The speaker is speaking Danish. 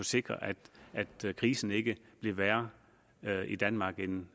sikre at krisen ikke blev værre i danmark end